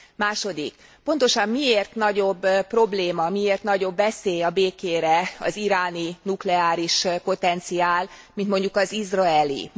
Második pontosan miért nagyobb probléma, miért nagyobb veszély a békére az iráni nukleáris potenciál, mint mondjuk az izraeli.